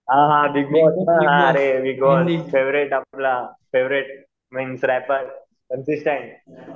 हां हां बिगबॉस हां अरे बिगबॉस फेवरेट आपला फेव्हरेट एम सी स्टेन